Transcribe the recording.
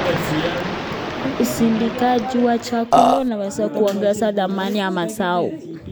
Usindikaji wa chakula unaweza kuongeza thamani ya mazao.